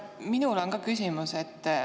Minul on ka küsimus.